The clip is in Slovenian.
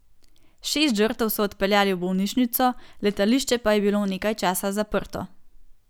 Šest žrtev so odpeljali v bolnišnico, letališče pa je bilo nekaj časa zaprto.